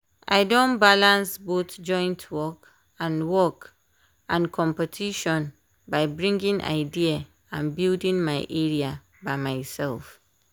i don ballance both joint work and work and competition by bringing idea and building my area by myself.